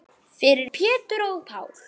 Fyrir Pétur og Pál.